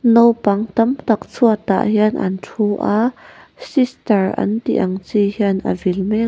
naupang tam tak chhuat ah hian an thu a sister an tih ang chi hian a vil mek.